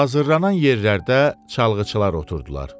Hazırlanan yerlərdə çalğıçılar oturdular.